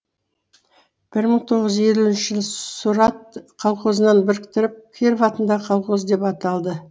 бір мың тоғыз жүз елуінші сұрат колхозына біріктіріліп киров атындағы колхоз деп аталды